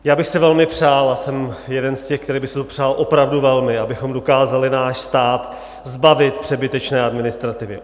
Já bych si velmi přál, a jsem jeden z těch, který by si to přál opravdu velmi, abychom dokázali náš stát zbavit přebytečné administrativy.